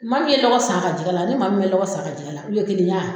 Maa min ye dɔgɔ san a ka jɛgɛ la ani maa min ma dɔgɔ san a ka jɛgɛ la olu ye kelenya ye wa